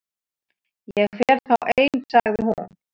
Ég fer þá ein sagði hún.